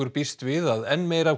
býst við að enn meira af